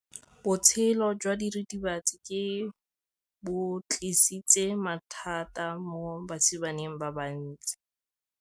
Botshelo jwa diritibatsi ke bo tlisitse mathata mo basimaneng ba bantsi.